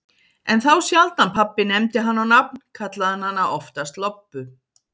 En þá sjaldan pabbi nefndi hana á nafn, kallaði hann hana oftast Lobbu.